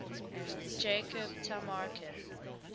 jacob tamarkin